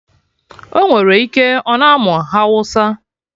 Ọnwere ike, ọ na amụ hawụsa